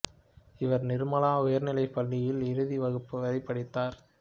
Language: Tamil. இவர் நிர்மலா உயர்நிலைப் பள்ளியில் இறுதி வகுப்பு வரை படித்தார்